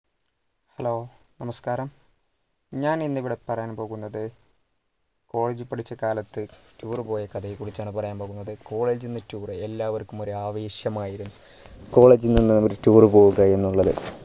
hello നമസ്‌കാരം ഞാൻ ഇന്ന് ഇവിടെ പറയാൻ പോകുന്നത് college പഠിച്ച കാലത്തു tour പോയ കഥയെ കുറിച്ചാണ് പറയാൻ പോകുന്നത് college നിന്ന് tour എല്ലാവർക്കും ഒരു ആവേശമായിരുന്നു college നിന്ന് ഒരു tour പോവുക എന്നുള്ളത്